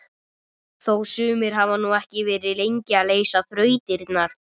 Þó sumir hafi nú ekki verið lengi að leysa þrautirnar!